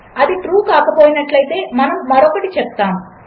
అదిట్రూకాకపోయినట్లైతే మనముమరొకటిచెప్తాము